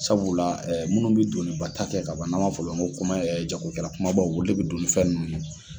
Sabula ɛ munnu be doniba ta kɛ kaban n'an b'a fɔ olu ko koma ɛ jago kɛra kumabaw olu le be don ni fɛn nunnu ye